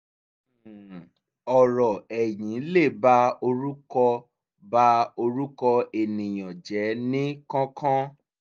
um ọ̀rọ̀ ẹ̀yìn lè ba orúkọ ba orúkọ ènìyàn jẹ́ ní kánkán